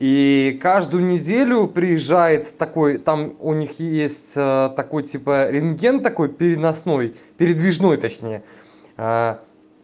и каждую неделю приезжает такой там у них есть такой типа рентген такой переносной передвижной точнее